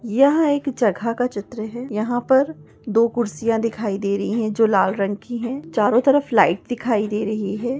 यह एक जगह का चित्र है यहा पर दो कुर्सिया दिखाई दे रही है जो लाल रंग की है चारो तरफ लाइट दिखाई दे रही है।